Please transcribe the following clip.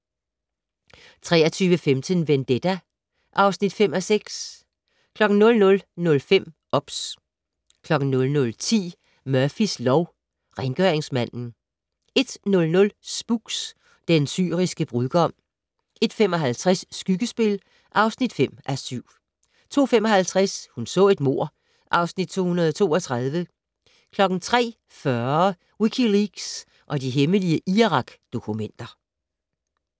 23:15: Vendetta (5:6) 00:05: OBS 00:10: Murphys lov: Rengøringsmanden 01:00: Spooks: Den syriske brudgom 01:55: Skyggespil (5:7) 02:55: Hun så et mord (Afs. 232) 03:40: Wikileaks og de hemmelige Irak-dokumenter